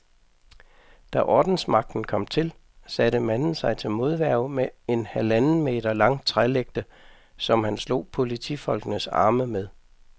Da ordensmagten kom til, satte manden sig til modværge med en halvanden meter lang trælægte, som han slog politifolkenes arme med.